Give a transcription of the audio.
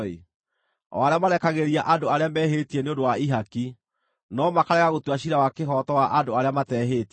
o arĩa marekagĩrĩria andũ arĩa mehĩtie nĩ ũndũ wa ihaki, no makarega gũtua ciira wa kĩhooto wa andũ arĩa matehĩtie.